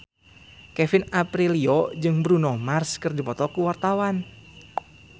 Kevin Aprilio jeung Bruno Mars keur dipoto ku wartawan